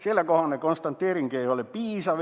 Sellekohane konstateering ei ole piisav.